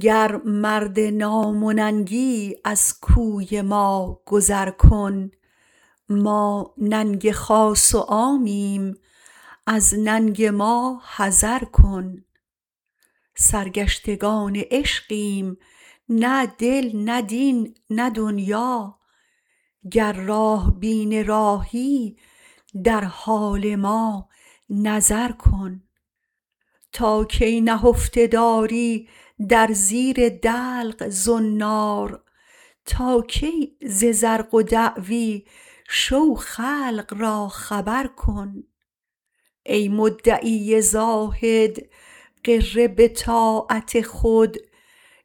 گر مرد نام و ننگی از کوی ما گذر کن ما ننگ خاص و عامیم از ننگ ما حذر کن سرگشتگان عشقیم نه دل نه دین نه دنیا گر راه بین راهی در حال ما نظر کن تا کی نهفته داری در زیر دلق زنار تا کی ز زرق و دعوی شو خلق را خبر کن ای مدعی زاهد غره به طاعت خود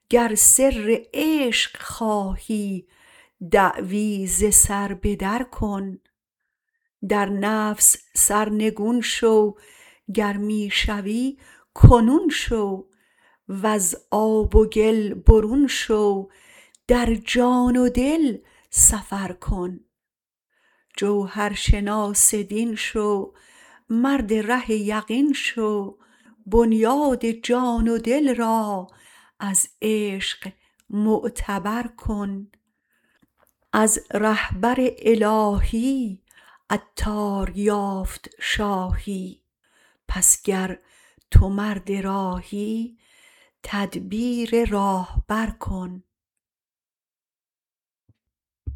گر سر عشق خواهی دعوی ز سر بدر کن در نفس سرنگون شو گر می شوی کنون شو واز آب و گل برون شو در جان و دل سفر کن جوهرشناس دین شو مرد ره یقین شو بنیاد جان و دل را از عشق معتبر کن از رهبر الهی عطار یافت شاهی پس گر تو مرد راهی تدبیر راهبر کن